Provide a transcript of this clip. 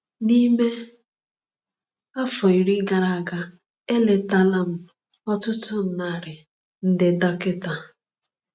N’ime afọ iri gara aga, eletaala m ọtụtụ narị ndị dọkịta.